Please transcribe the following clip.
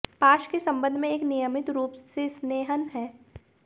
पाश के संबंध में एक नियमित रूप से स्नेहन है